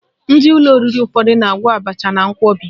Ndị ụlọ oriri ụfọdụ na-agwọ abacha na nkwọbi